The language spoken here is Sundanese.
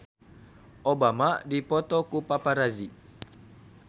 Obama dipoto ku paparazi